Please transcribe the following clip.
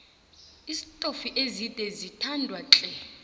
iistofi ezide ziyathandwatle